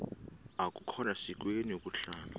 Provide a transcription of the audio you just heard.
akukhona sikweni ukuhlala